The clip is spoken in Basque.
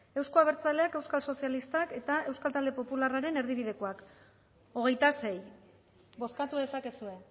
euzko abertzaleak euskal sozialistak eta euskal talde popularraren erdibidekoak hogeita sei bozkatu dezakezue